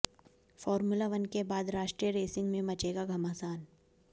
formula one के बाद राष्ट्रीय रेसिंग में मचेगा घमासान